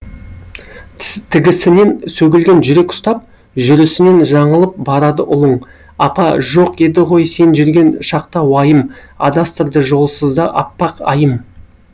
тігісінен сөгілген жүрек ұстап жүрісінен жаңылып барады ұлың апа жоқ еді ғой сен жүрген шақта уайым адастырды жолсызда аппақ айым